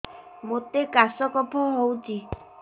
ମୋତେ କାଶ କଫ ହଉଚି